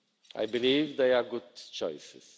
I believe they are good choices.